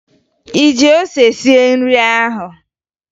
Ị ji ose sie nri ahụ?